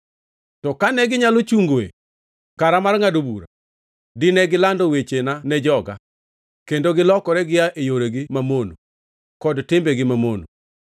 To kane ginyalo chungoe kara mar ngʼado bura, dine gilando wechena ne joga kendo gilokore gia e yoregi mamono, kod timbegi mamono.”